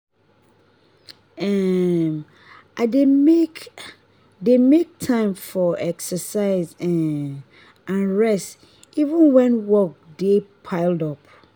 um i dey make dey make time for exercise um and rest even when work dey pile up.